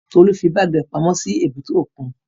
Tolú fí báàgì rẹ̀ pamọ́ sí èbúté òkun